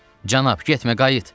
Cənab, getmə, qayıt!